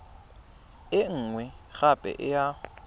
e nngwe gape e ya